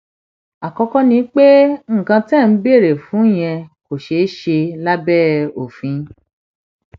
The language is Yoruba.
àkọkọ ni pé nǹkan tẹ ẹ ń béèrè fún yẹn kò ṣeé ṣe lábẹ òfin